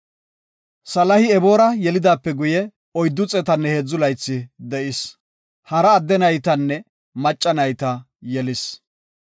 Saali Eboora yelidaape guye, 403 laythi de7is. Hara adde naytanne macca nayta yelis.